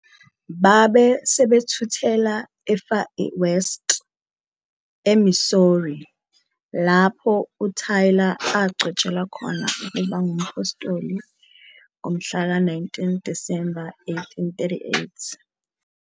Babe sebethuthela eFar West, eMissouri, lapho uTaylor agcotshelwa khona ukuba ngumphostoli ngomhlaka 19 Disemba 1838.